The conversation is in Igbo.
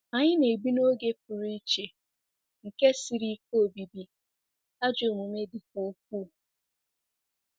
Anyị na-ebi 'n'oge pụrụ iche nke siri ike obibi,' ajọ omume dịkwa ukwuu.